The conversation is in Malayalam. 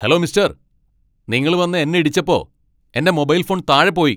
ഹലോ മിസ്റ്റർ, നിങ്ങൾ വന്ന് എന്നെ ഇടിച്ചപ്പോ എന്റെ മൊബൈൽ ഫോൺ താഴെ പോയി .